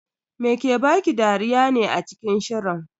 Me ke baki dariya ne a cikin shirin?